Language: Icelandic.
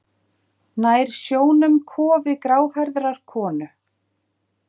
Nær sjónum kofi gráhærðrar konu.